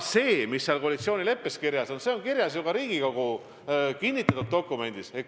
See, mis koalitsioonileppes kirjas on, on kirjas ka Riigikogu kinnitatud dokumendis.